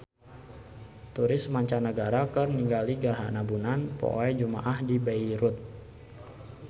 Turis mancanagara keur ningali gerhana bulan poe Jumaah di Beirut